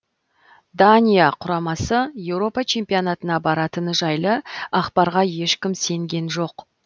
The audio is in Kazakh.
дания құрамасы еуропа чемпионатына баратыны жайлы ақпарға ешкім сенген жоқ